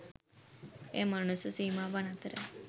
එය මනුස්ස සීමාවන් අතර